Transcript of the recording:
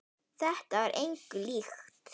Þetta var engu líkt.